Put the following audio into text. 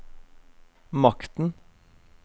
makten